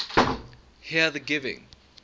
here the giving